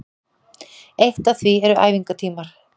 Eitt af því eru æfingatímar